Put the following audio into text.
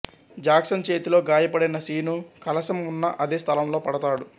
Jackson చేతిలో గాయపడిన శీను కలశం ఉన్న అదే స్థలంలో పడతాడు